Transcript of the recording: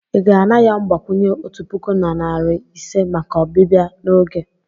ị ga-ana ya mgbakwunye otu puku na narị ise maka ọbịbịa n'oge.